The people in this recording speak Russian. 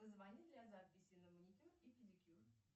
позвони для записи на маникюр и педикюр